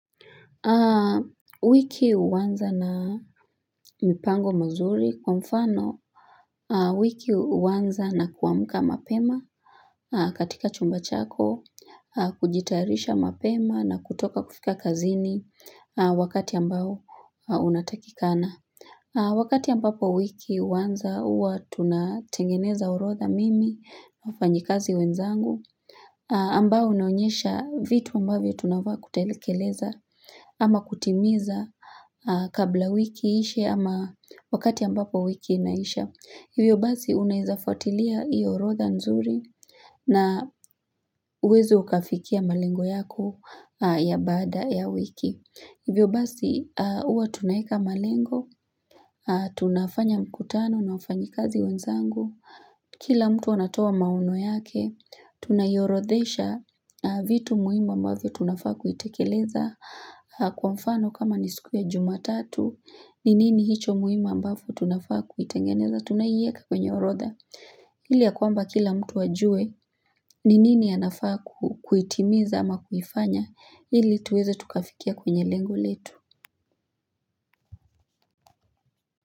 Wiki huanza na mipango mizuri kwa mfano wiki huanza na kuamka mapema katika chumba chako, kujitayarisha mapema na kutoka kufika kazini wakati ambao unatakikana. Wakati ambapo wiki huanza huwa tunatengeneza orodha mimi, wafanyikazi wenzangu, ambao unaonyesha vitu ambavyo tunafaa kutekeleza ama kutimiza kabla wiki iishe ama wakati ambapo wiki inaisha. Hivyo basi unawezafuatilia hii orodha nzuri na uweze ukafikia malengo yako ya baada ya wiki. Hivyo basi huwa tunaweka malengo, tunafanya mkutano, na wafanyi kazi wenzangu. Kila mtu anatoa maono yake, tunaiorodhesha vitu muihimu ambavyo tunafaa kuitekeleza kwa mfano kama nisiku ya jumatatu, ninini hicho muhimu ambavyo tunafaa kuitengeneza, tunaieka kwenye orodha. Ili ya kwamba kila mtu ajue, ninini anafaa kuitimiza ama kufanya, ili tuweze tukafikia kwenye lengo letu.